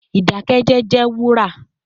Idakẹjẹ jẹ wura